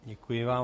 Děkuji vám.